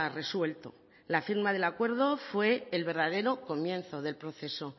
resuelto la firma del acuerdo fue el verdadero comienzo del proceso